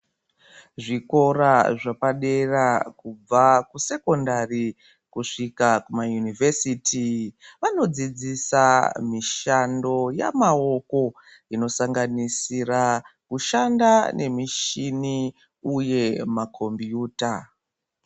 Zvikora zvepadera kubva kusekondari kusvika kumayunivhesiti vanodzidzisa mishando yamaoko inosanganisira kushanda nemishini uye makombiyuta.